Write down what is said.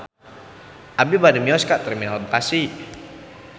Abi bade mios ka Terminal Bekasi